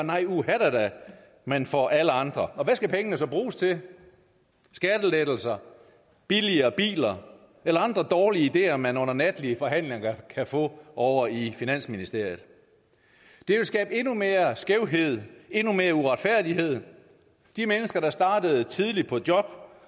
nej uhadada men for alle andre hvad skal pengene så bruges til skattelettelser billigere biler eller andre dårlige ideer man under natlige forhandlinger kan få ovre i finansministeriet det vil skabe endnu mere skævhed endnu mere uretfærdighed de mennesker der startede tidligt på job